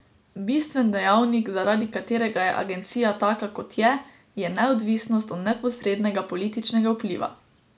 Bistven dejavnik, zaradi katerega je agencija taka, kot je, je neodvisnost od neposrednega političnega vpliva.